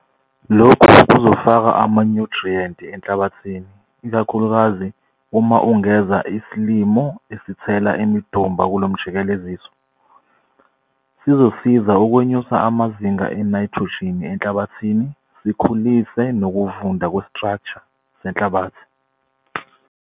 Lokhu kuzofaka amanyuthriyenti enhlabathini ikakhulukazi uma ungeza isilimo esithela imidumba kulomjikeleziso, sizosiza ukwenyusa amazinga enayithrojini enhlabathini sikhulise nokuvunda kwe-structure senhlabathi.